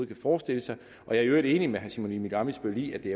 kan forestille sig jeg er i øvrigt enig med herre simon emil ammitzbøll i at det